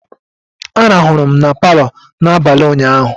Arahụ m na Palọ n'abalị ụnyaahụ